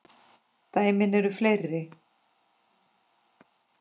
Dæmin eru fleiri.